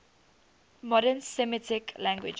modern semitic languages